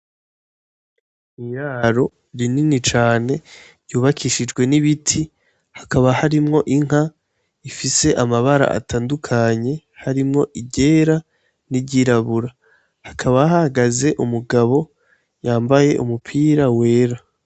Iraro rinini cane ryubakishijwe n'ibiti, hakaba harimwo inka ifise amabara atandukanye, harimwo iryera n'iryirabura. Hakaba hahagaze umugabo yambaye umupira wera.